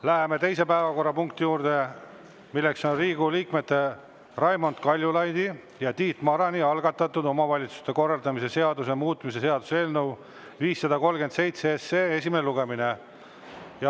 Läheme teise päevakorrapunkti juurde, milleks on Riigikogu liikmete Raimond Kaljulaidi ja Tiit Marani algatatud omavalitsuse korralduse seaduse muutmise seaduse eelnõu 537 esimene lugemine.